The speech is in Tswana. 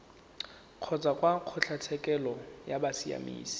kgotsa kwa kgotlatshekelo ya bosiamisi